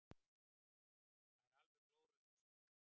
Það er alveg glórulaust.